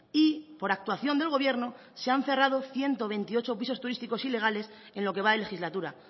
y por actuación del gobierno se han cerrado ciento veintiocho pisos turísticos ilegales en lo que va de legislatura